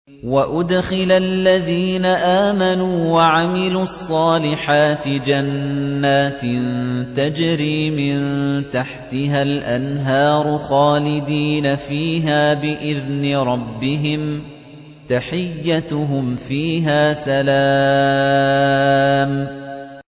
وَأُدْخِلَ الَّذِينَ آمَنُوا وَعَمِلُوا الصَّالِحَاتِ جَنَّاتٍ تَجْرِي مِن تَحْتِهَا الْأَنْهَارُ خَالِدِينَ فِيهَا بِإِذْنِ رَبِّهِمْ ۖ تَحِيَّتُهُمْ فِيهَا سَلَامٌ